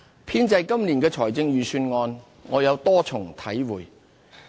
編製今年的預算案，我有多重體會。